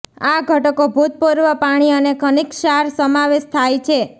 આ ઘટકો ભૂતપૂર્વ પાણી અને ખનિજ ક્ષાર સમાવેશ થાય છે